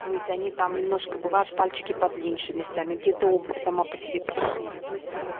то есть они там немножко бывают пальчики подлиньше местами где-то обувь сама по себе пошире то есть вот